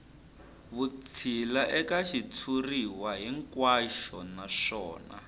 vutshila eka xitshuriwa hinkwaxo naswona